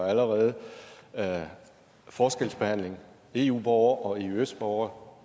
allerede er forskelsbehandling eu borgere og eøs borgere